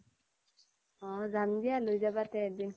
অ যাম দিয়া লৈ যাবা তে এদিন